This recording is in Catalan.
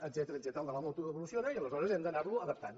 etcètera el de la moto evoluciona i alesho·res hem d’anar·lo adaptant